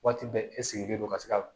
Waati bɛɛ e sigilen don ka se ka